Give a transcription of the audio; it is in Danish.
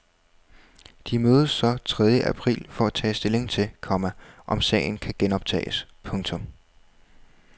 De mødes så tredje april for at tage stilling til, komma om sagen kan genoptages. punktum